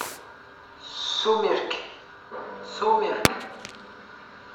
сумерки сумерки